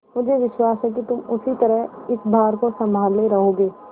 मुझे विश्वास है कि तुम उसी तरह इस भार को सँभाले रहोगे